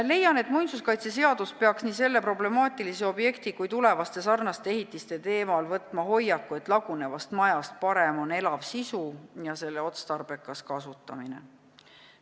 Leian, et muinsuskaitseseadus peaks nii selle problemaatilise objekti kui ka tulevaste sarnaste ehitiste kohta võtma hoiaku, et lagunevast majast parem on elav sisu ja selle otstarbekas kasutamine.